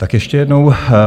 Tak ještě jednou.